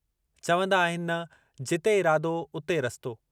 चवंदा आहिनि न जिते इरादो, उते रस्तो...